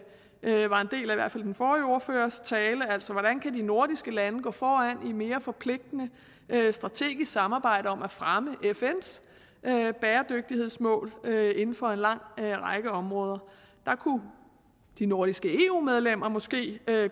i hvert fald den forrige ordførers tale hvordan kan de nordiske lande gå foran i et mere forpligtende strategisk samarbejde om at fremme fns bæredygtighedsmål inden for en lang række områder der kunne de nordiske eu medlemmer måske